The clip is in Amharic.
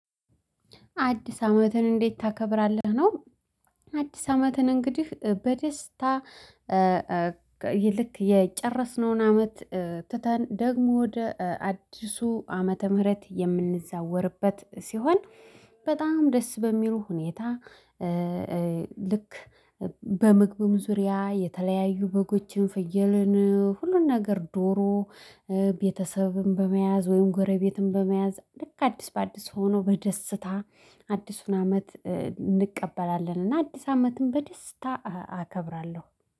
አዲስ አመትን እንዴት ታከብራለህ ነው? አዲስ አመትን እንግዲህ በደስታ። ልክ የጨረስነውን አመት ትተን ደግሞ ወደ አዲሱ ዓመተ ምህረት የምንዘዋወርበት ሲሆን በጣም ደስ በሚሉ ሁኔታ። ልክ በምግብም ዙሪያ የተለያዩ በጎችን ፍየልን ሁሉን ነገር ዶሮ ቤተሰብም በመያዝ ወይም ጎረቤትም በመያዝ ልክ አዲስ በአዲስ ሆኖ በደስታ አዲሱን አመት እንቀበላለን። እና አዲስ አመትም በደስታ አከብራለሁ